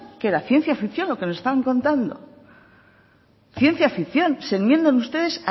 que era ciencia ficción lo que nos estaban contando ciencia ficción se enmiendan ustedes